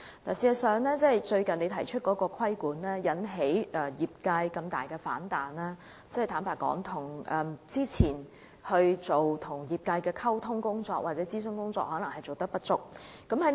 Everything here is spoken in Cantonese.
事實上，局長最近提出的規管引起業界如此大的反彈，坦白說，這可能是之前與業界的溝通或諮詢工作不足所致。